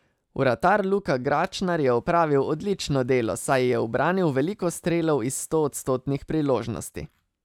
Vratar Luka Gračnar je opravil odlično delo, saj je ubranil veliko strelov iz stoodstotnih priložnosti.